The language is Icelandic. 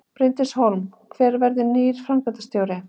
Bryndís Hólm: Hver verður nýr framkvæmdastjóri?